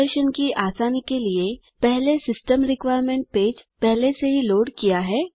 प्रदर्शन की आसानी के लिए पहले सिस्टम रिक्वायरमेंट पेज पहले से ही लोड किया है